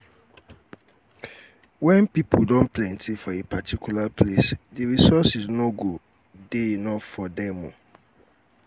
when pipo don plenty for a particular place di resources no go um dey enough for um them um